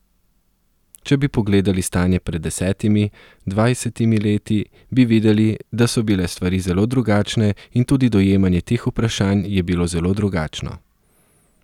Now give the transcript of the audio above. Če bi pogledali stanje pred desetimi, dvajsetimi leti, bi videli, da so bile stvari zelo drugačne in tudi dojemanje teh vprašanj je bilo zelo drugačno.